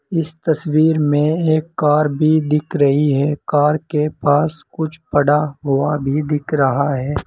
इस तस्वीर में एक कार भी दिख रही है कार के पास कुछ पड़ा हुआ भी दिख रहा है।